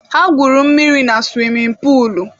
Ha gwuru mmiri na suwimin puulu.